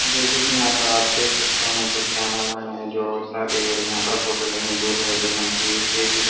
जैसे कि यहां पर आप देख सकते हैं यहाँ कुछ कैमरा मैन है जो शादी हो रही है यहां पर फोटो लिए है दूल्हा और दुल्हन की स्टेज --